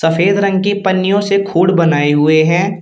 सफेद रंग के पन्नियों से खुड बनाए हुए हैं।